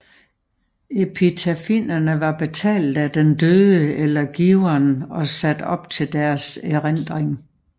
Epitafierne var betalt af den døde eller giveren og sat op til deres erindring